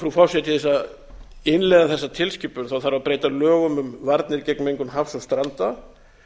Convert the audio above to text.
frú forseti til þess að innleiða þessa tilskipun þarf að breyta lögum um varnir gegn mengun hafs og stranda